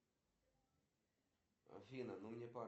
афина хочу стать историком